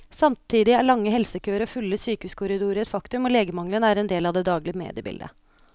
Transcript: Samtidig er lange helsekøer og fulle sykehuskorridorer et faktum, og legemangelen er en del av det daglige mediebildet.